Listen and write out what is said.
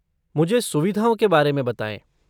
मुझे सुविधाओं के बारे में बताएँ।